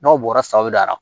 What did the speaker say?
N'aw bɔra sawɛra